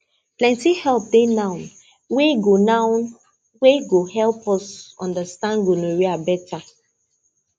plenty help dey now wey go now wey go help us understand gonorrhea better